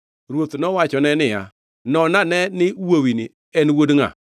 Ruoth nowachone niya, “Non ane ni wuowini en wuod ngʼa?”